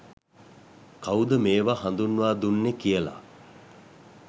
කවුද මේවා හඳුන්වා දුන්නේ කියල.